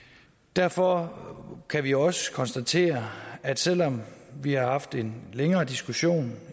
derfor kan vi også konstatere at selv om vi har haft en længere diskussion